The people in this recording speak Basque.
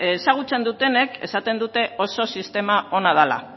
ezagutzen dutenek esaten dute oso sistema hona dela